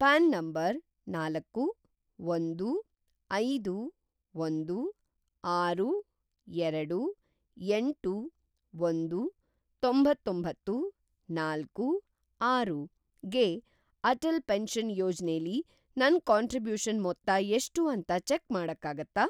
PRAN number ನಾಲ್ಕು, ಒಂದು, ಐದು, ಒಂದು, ಆರು, ಎರಡು, ಎಂಟು, ಒಂದು, ತೊಂತ್ತೊಂಬತ್ತು, ನಾಲ್ಕು, ಆರು ಗೆ ಅಟಲ್‌ ಪೆನ್ಷನ್‌ ಯೋಜನೆಲಿ ನನ್‌ ಕಾಂಟ್ರಿಬ್ಯೂಷನ್‌ ಮೊತ್ತ ಎಷ್ಟು ಅಂತ ಚೆಕ್‌ ಮಾಡಕ್ಕಾಗತ್ತಾ?